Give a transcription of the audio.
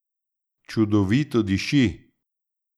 Čudovito diši.